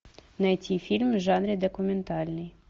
найти фильм в жанре документальный